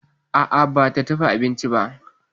A'a ba ta dafa abincin ba.